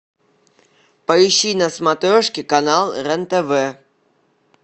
поищи на смотрешке канал рен тв